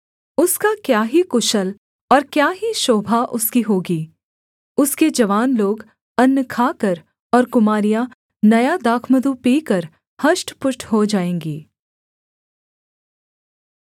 उसका क्या ही कुशल और क्या ही शोभा उसकी होगी उसके जवान लोग अन्न खाकर और कुमारियाँ नया दाखमधु पीकर हष्टपुष्ट हो जाएँगी